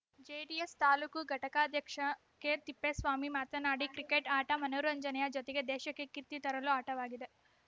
JDS taluk ಘಟಕಾಧ್ಯಕ್ಷ ಕೆತಿಪ್ಪೇಸ್ವಾಮಿ ಮಾತನಾಡಿ cricket ಆಟ ಮನೋರಂಜನೆಯ ಜೊತೆಗೆ ದೇಶಕ್ಕೆ ಕೀರ್ತಿ ತರುಲು ಆಟವಾಗಿದೆ